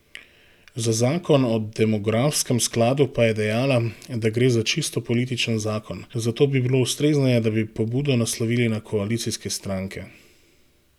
Za zakon o demografskem skladu pa je dejala, da gre za čisto političen zakon, zato bi bilo ustrezneje, da bi pobudo naslovili na koalicijske stranke.